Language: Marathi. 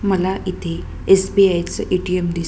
मला इथे एस.बी.आय. चे ए.टी.एम. दिस--